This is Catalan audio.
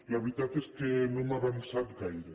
la veritat és que no hem avançat gaire